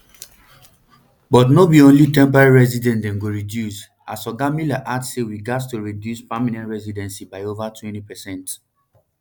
but no be only temporary residents dem go reduce as oga miller add say we gatz to reduce permanent residency by over twenty